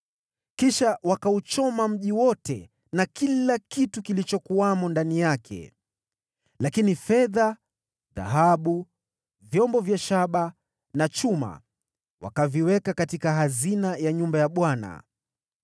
Kisha wakauchoma mji wote na kila kitu kilichokuwamo ndani yake. Lakini fedha, dhahabu, vyombo vya shaba na vya chuma wakaviweka katika hazina ya nyumba ya Bwana .